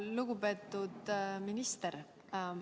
Lugupeetud minister!